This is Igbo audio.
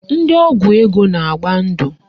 Ndị ọgwụ ego na-agba ndụ